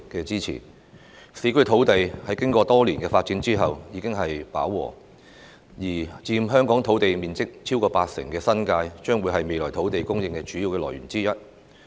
市區土地經過多年發展後現已飽和，而佔香港土地面積超過八成的新界，將會是未來土地供應的主要來源之一。